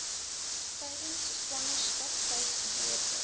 tydens swangerskap tuisgeboorte